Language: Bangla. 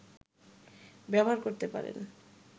ব্যবহার করতে পারেন